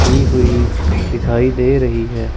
की हुई दिखाई दे रही हैं।